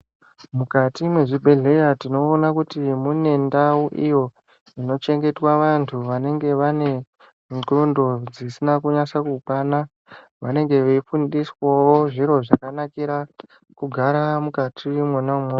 Mujati mwezvibhedhleya tinoona kuti mune ndau iyo inochengetwa vantu vanenge vane ndxondo dzisina kunyase kukwana vanenge veifundiswawo zviro zvakanakira kugara nukati mwona umwomwo.